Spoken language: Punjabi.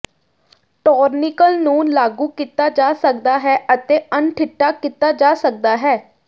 ਟੋਰਨੀਕਲ ਨੂੰ ਲਾਗੂ ਕੀਤਾ ਜਾ ਸਕਦਾ ਹੈ ਅਤੇ ਅਣਡਿੱਠਾ ਕੀਤਾ ਜਾ ਸਕਦਾ ਹੈ